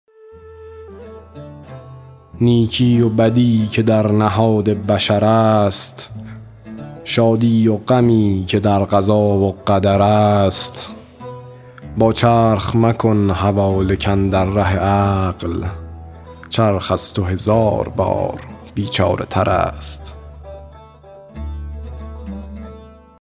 نیکی و بدی که در نهاد بشر است شادی و غمی که در قضا و قدر است با چرخ مکن حواله کاندر ره عقل چرخ از تو هزار بار بیچاره تر است